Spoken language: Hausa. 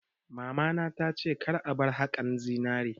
Mamana ta ce 'Ka bar haƙar zinari'!